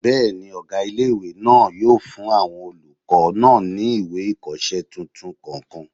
Bẹ́ẹ̀ni, ọgá ilé-ìwé náà yóò fún àwọn olùkọ́ náà ní ìwé ìkọsẹ́ tuntun kọ̀ọ̀kan